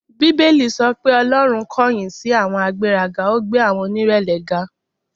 Bíbélì sọ pé Ọlọ́run kọ̀yìn sí àwọn agbéraga, ó gbé àwọn onírẹ̀lẹ̀ ga.